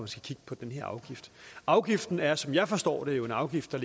skal kigge på den her afgift afgiften er som jeg forstår det jo en afgift der